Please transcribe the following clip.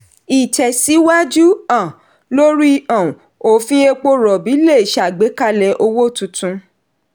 ìtẹ̀síwájú um lórí um òfin epo rọ̀bì le ṣàgbékalẹ̀ owó tuntun.